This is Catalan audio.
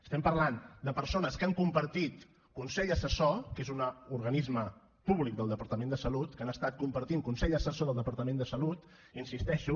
estem parlant de persones que han compartit consell assessor que és un organisme públic del departament de salut que han estat compartint consell assessor del departament de salut hi insisteixo